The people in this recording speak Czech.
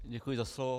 Děkuji za slovo.